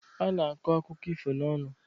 A na-akọ akụkọ ifo n'ọnụ.